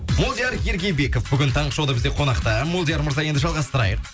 молдияр ергебеков бүгін таңғы шоуда бізде қонақта молдияр мырза енді жалғастырайық